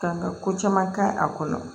Ka ka ko caman kɛ a kɔnɔ